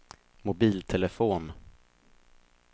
mobiltelefon